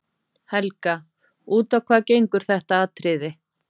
Helga: Út á hvað gengur þetta atriði?